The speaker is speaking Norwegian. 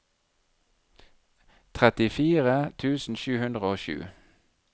trettifire tusen sju hundre og sju